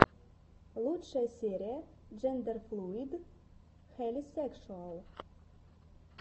лучшая серия джендерфлуид хелисекшуал